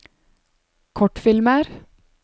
kortfilmer